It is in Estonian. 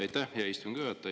Aitäh, hea istungi juhataja!